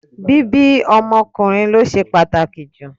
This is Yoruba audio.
Bíbí ọmọ ọkùnrin ló ṣe pàtàkì jù.